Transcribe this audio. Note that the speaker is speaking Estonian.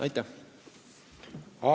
Aitäh!